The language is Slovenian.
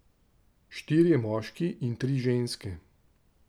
Štirje moški in tri ženske.